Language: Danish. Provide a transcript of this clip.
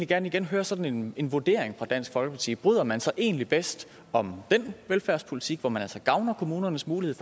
gerne igen høre sådan en vurdering fra dansk folkepartis side bryder man sig egentlig bedst om den velfærdspolitik hvor man altså gavner kommunernes mulighed